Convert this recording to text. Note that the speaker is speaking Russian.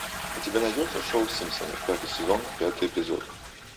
у тебя найдется шоу симпсоны пятый сезон пятый эпизод